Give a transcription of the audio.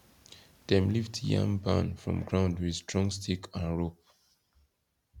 dem lift yam barn from ground with strong stick and rope